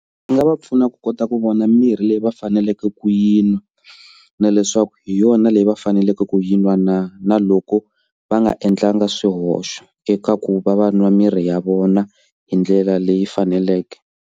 Swi nga va pfuna ku kota ku vona mirhi leyi va faneleke ku yi nwa na leswaku hi yona leyi va faneleke ku yi nwa na na loko va nga endlanga swihoxo eka ku va va nwa mirhi ya vona hi ndlela leyi faneleke.